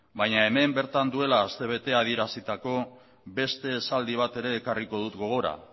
baina hemen bertan duela astebete adierazitako beste esaldi bat ere ekarriko dut gogora